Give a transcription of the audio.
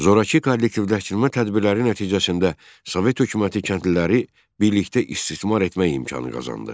Zoraki kollektivləşmə tədbirləri nəticəsində Sovet hökuməti kəndliləri birlikdə istismar etmək imkanı qazandı.